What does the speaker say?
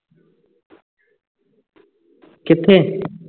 ਕਿੱਥੇ